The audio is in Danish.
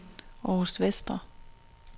Århus Vestre